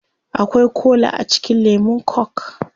Akwai kola a cikin lemun coke